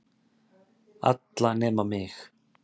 Alla nema mig.